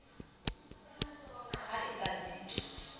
ha e ba di le